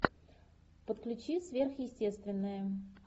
подключи сверхъестественное